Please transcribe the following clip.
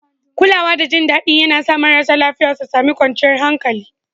Kulawa da jin daɗi yAna sa marasa lafiya su sami kwanciyar hankali